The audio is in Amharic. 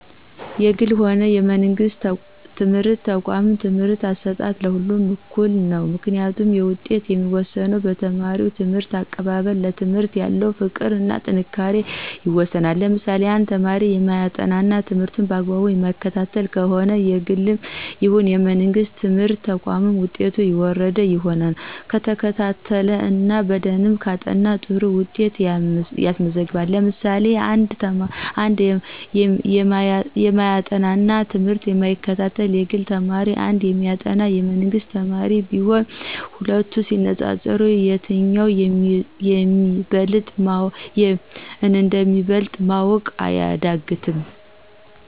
የግልም ሆነ የመንግስት ትምህርት ተቋም የትምህርት አሰጣጡ የሁለቱም እኩል ነው። ምክንያቱም ውጤቱ የሚወሰነው በተማሪው ትምህርት አቀባበል፣ ለትምህርት ያለው ፍቅር እና ጥንካሬ ይወስነዋል። ለምሳሌ1፦ አንድ ተማሪ የማያጠና እና ትምህርቱን በአግባቡ የማይከታተል ከሆነ የግልም ይሁን የመንግስት ትምህርት ተቋም ውጤቱ የወረደ ይሆናል። ከተከታተለ እና በደንብ ካጠና ጥሩ ውጤት ያስመዘግባል። ለምሳሌ 2፦ አንድ የማያጠና እና ትምህርቱን የማይከታተል የግል ተማሪ እና አንድ የሚያጠና የመንግስት ተማሪ ቢኖሩ ሂለቱ ሲነፃፀሩ የትኛው እንደሚበልጥ ማወቅ አያዳግትም።